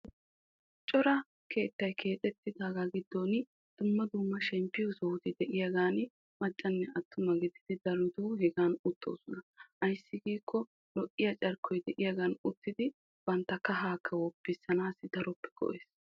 cora keettay keexxettidaaga giddon dumma dumma shemppiyo sohotti de'iyaagani maccanne attuma gididi darotoo hegan uttoosona. ayssi giikko lo'iya carkkoy de'iyagan uttidi bantta kahaakka woppisanaassi daroppe koyees.